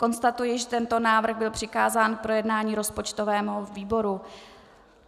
Konstatuji, že tento návrh byl přikázán k projednání rozpočtovému výboru.